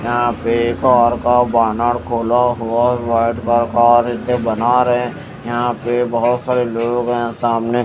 यहां पे कार का बोनेट खोला हुआ है व्हाइट का कार बना रहे हैं यहां पे बहुत सारे लोग हैं सामने।